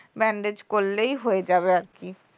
bandage করলেই হয়ে যাবে আর কি